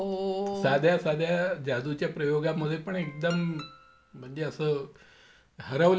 साध्या साध्या जादूच्या प्रयोगामध्ये पण एकदम म्हणजे असं हरवल्या सारखे असायचो.